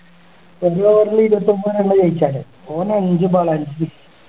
ഇരുപത്തൊമ്പതിനാണ് ജയിച്ചല്ലേ ഓൻ അഞ്ച് ball ല് അഞ്ച് six